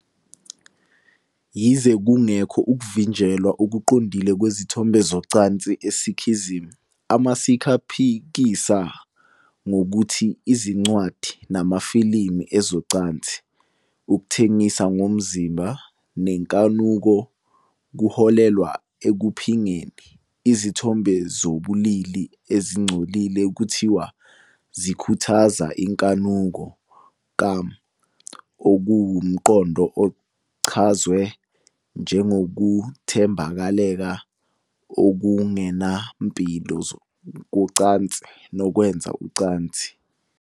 Yize kungekho ukuvinjelwa okuqondile kwezithombe zocansi eSikhism, amaSikh aphikisa ngokuthi izincwadi namafilimu ezocansi, ukuthengisa ngomzimba nenkanuko kuholela ekuphingeni. Izithombe zobulili ezingcolile kuthiwa zikhuthaza inkanuko, Kaam, okuwumqondo ochazwe njengokuthambekela okungenampilo kocansi nokwenza ucansi.